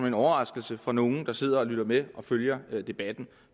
en overraskelse for nogen der sidder og lytter med og følger debatten